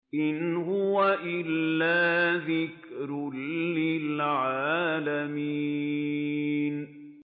إِنْ هُوَ إِلَّا ذِكْرٌ لِّلْعَالَمِينَ